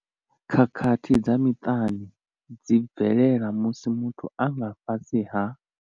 Khakhathi dza miṱani dzi bvelela musi muthu a nga fhasi ha.